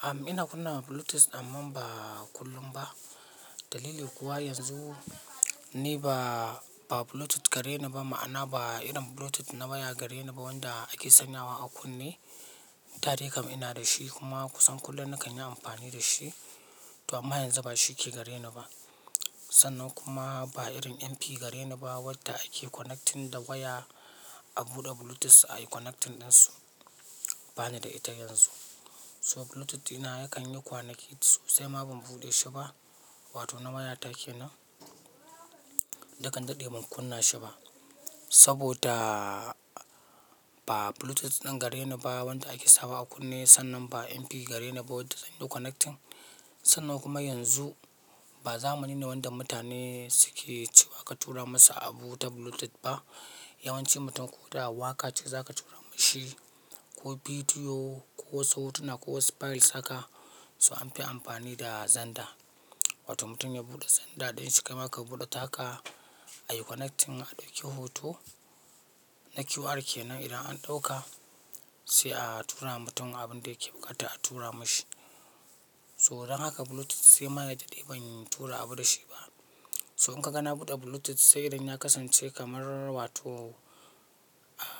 Am ina kunna bluetooth amman ba kullum ba. Dalili kuwa yanzu ni ba, ba bluetooth gare ni ba, ma'ana ba irin bluetooth na waya gare ni ba wanda ake sanyawa a kunne. Da dai kam ina da shi kuma kusan kullum nakan yi amfani da shi. To amma yanzu ba shi ke gare ni ba. Sannan kuma ba irin MP gare ni ba wadda ake connecting da waya a buɗe bluetooth a yi connecting ɗinsu. Bani da ita yanzu. So bluetooth ɗina yakan yi kwanaki sosai ma ban buɗe shi ba. Wato na waya ta ke nan. Dakian daɗe ban kunna shi ba. Saboda ba bluetooth ɗin gare ni ba wanda ake sawa a kunne sannan ba MP gare ni ba wadda zan yi connecting. Sannan kuma yanzu ba zamani ne wanda mutane suke cewa ka tura masu abu ta bluetooth ba. Yawanci mutum ko da waƙa ce za ka tura mashi ko bidiyo ko wasu hotuna ko wasu files haka, so an fi amfani da xender. Wato mutum ya buɗe zanda ɗinshi kai ma ka buɗe taka a yi connecting a ɗauki hoto na QR ke nan idan an ɗauka sai a tura ma mutum abin da yake buƙata a tura mashi. So dan haka bluetooth sai ma ya daɗe ban tura abu da shi ba. So in ka ga na buɗe bluetooth sai irin na kasance kamar wa to,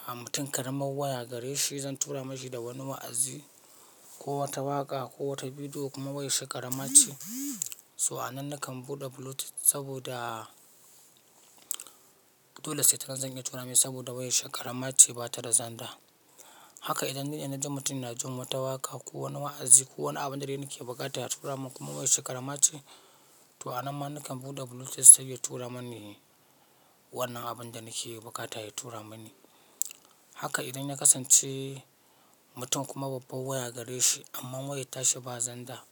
ah mutum ƙaramar waya gare shi zan tura mashi da wani wa'azi ko wata waƙa ko wata bidiyo kuma wayar shi ƙarama ce. So a nan nakan buɗe bluetooth saboda dole sai ta nan zan iya tura mai saboda wayar shi ƙarama ce ba ta da zanda. Haka idan duk yana jin mutum yana ji wata waka ko wani wa'azi ko wani abun da dai nake buƙata ya tura mun kuma wayar shi ƙarama ce, to a nan ma nakan buɗe bluetooth sai ya tura mani wannan abun da nake buƙata ya tura mani. Haka idan na kasance mutum kuma babbar waya gare shi amma wayar ta shi ba zanda,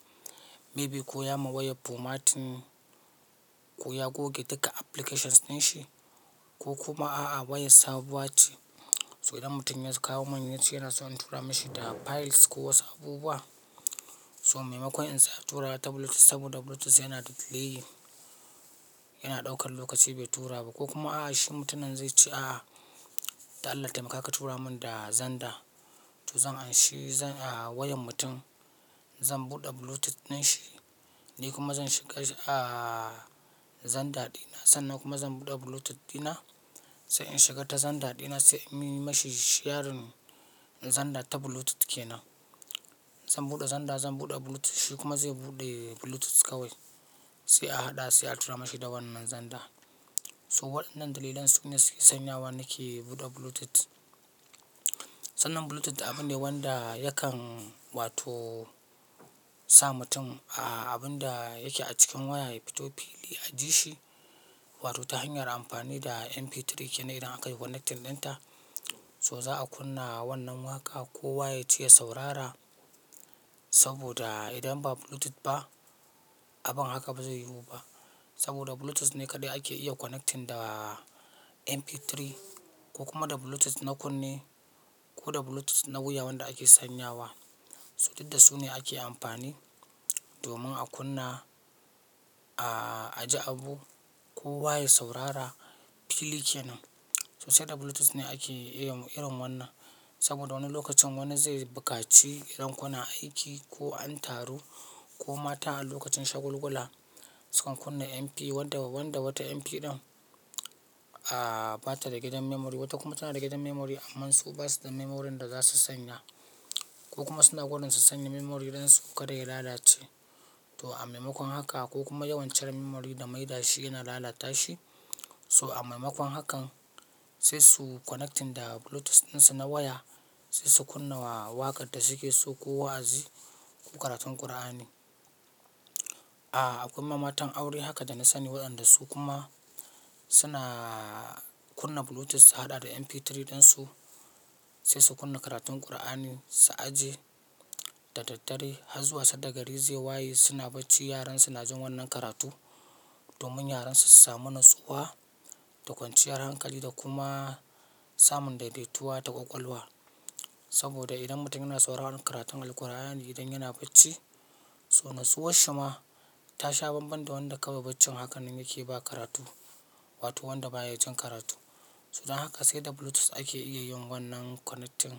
maybe ko ya ma wayar formatin ko ya goge duka applications ɗinshi ko kuma a'a wayar sabuwa ce. So idan mutum ya kawo min yace yana so in tura mashi da files ko wasu abubuwa, so maimakon in sa tura ta bluetooth saboda bluetooth yana da delay, yana ɗaukar lokaci bai tura ba ko kuma a'a shi mutumin zai ce a'a, dan Allah taimaka ka tura mun da zanda. To zan anshi a wayan mutum, zan buɗe bluetooth ɗinshi, ni kuma zan shiga a zanda ɗina sannan kuma zan buɗe bluetooth ɗina. Sai in shiga ta zanda ɗina sai in mi mashi sharin zanda ta bluetooth ke nan. Zan buɗe zanda, zan buɗe bluetooth shi kuma zai buɗe bluetooth kawai. Sai a haɗa sai a tura mashi da wannan zanda. So waɗannan dalilan su ne suke sanyawa nake buɗe bluetooth. Sannan bluetooth abu ne wanda yakan wato sa mutum a abun da yake a cikin waya ya fito fili a ji shi. Wato ta hanyar amfani da MP3 ke nan idan aka yi connecting ɗinta. So za'a kunna wannan waƙa ko waya ji ya saurara saboda idan ba bluetooth ba abun haka ba zai yiwu ba. Saboda bluetooth ne kaɗai ake iya connecting da MP3 ko kuma da bluetooth na kunne ko da bluetooth na wuya wanda ake sanyawa. So duk da su ne ake amfani domin a kunna, a ajiye abu ko wa ya saurara fili ke nan. Sai da bluetooth ne ake iya irin wannan saboda wani lokacin wani zai buƙaci idan kuna aiki ko an taru ko mata a lokacin shagulgula sukan kunna MP wanda, wanda wata MP ɗin a ba ta da gidan memory wata kuma tana da gidan memory amman su basu da memory ɗin za su sanya. Ko kuma suna gudun su sanya memory dan su kada ya lalace. To a maimakon haka ko kuma yawan cire memory da maida shi yana lalata shi. So a maimakon hakan sai su connecting da bluetooth ɗin su na waya sai su kunna waƙar da suke so ko wa'azi ko karatun ƙur'ani. A akwai ma matan aure haka da na sani waɗanda su kuma suna kunna bluetooth su haɗa da MP3 ɗin su sai su kunna karatun ƙur'ani su aje da daddare har zuwa sanda gari zai waye suna bacci yaran suna jin wannan karatu domin yaran su su samu natsuwa da kwanciyar hankali da kuma samun daidaituwa da ƙwaƙwalwa. Saboda idan mutum yana sauraron karatun Alqur'ani idan yana bacci, so natsuwar shi ma ta sha banban da wanda kawai baccin haka nan yake ba karatu wato wanda baya jin karatu. So dan haka sai da bluetooth ake iya yin wannan connecting.